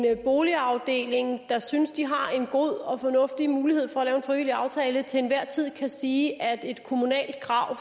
at en boligafdeling der synes de har en god og fornuftig mulighed for at lave en frivillig aftale til enhver tid kan sige at et kommunalt krav